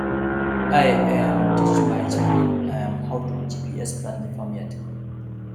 i um teach my um children um how to gps plan the farm yard